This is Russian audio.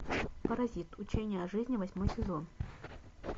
паразит учения жизни восьмой сезон